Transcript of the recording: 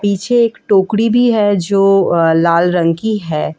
पीछे एक टोकड़ी भी है जो लाल रंग की है।